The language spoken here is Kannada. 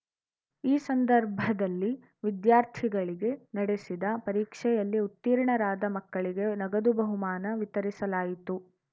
ಈ ಸಂದರ್ಭದಲ್ಲಿ ವಿದ್ಯಾರ್ಥಿಗಳಿಗೆ ನಡೆಸಿದ ಪರೀಕ್ಷೆಯಲ್ಲಿ ಉತ್ತೀರ್ಣರಾದ ಮಕ್ಕಳಿಗೆ ನಗದು ಬಹುಮಾನ ವಿತರಿಸಲಾಯಿತು